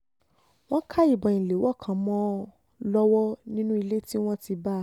wọ́n ká ìbọn ìléwọ́ kan mọ́ ọn lọ́wọ́ nínú ilé tí wọ́n ti bá a